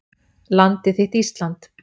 Landið þitt Ísland.